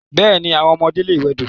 Bẹ́ẹ̀ni, àwọn ọmọdé lè wẹdò.